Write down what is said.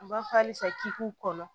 N b'a fɔ halisa k'i k'u kɔnɔ